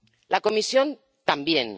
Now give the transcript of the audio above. La Comisión, también.